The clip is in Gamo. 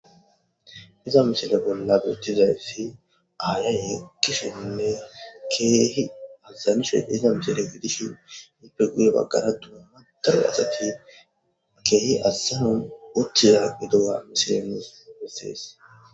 Diza misile bolla beetizayssi aaye yeekishinne keehi azanishe diya mishiriyo gidishin ippe guye bagara dumma daro asati keehi azanon utiya gidiya ha misile nus besees.